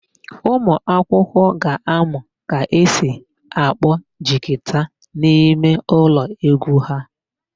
Ụmụakwụkwọ ga-amụ ka esi akpọ jigita n'imeụlọ égwú ha.